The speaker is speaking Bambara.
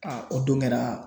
Aa o don kɛra